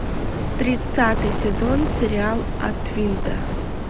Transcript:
тридцатый сезон сериал от винта